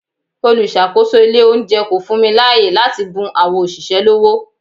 Olùsàkósò ilé oúnjẹ kò fún mi láàyè láti bun àwọn òṣìṣẹ́ lọ́wó.